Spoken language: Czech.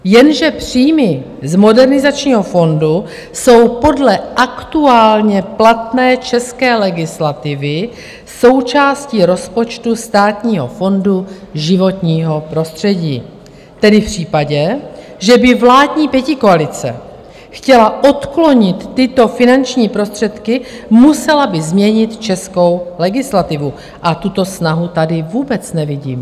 Jenže příjmy z Modernizačního fondu jsou podle aktuálně platné české legislativy součástí rozpočtu Státního fondu životního prostředí, tedy v případě, že by vládní pětikoalice chtěla odklonit tyto finanční prostředky, musela by změnit českou legislativu, a tuto snahu tady vůbec nevidím.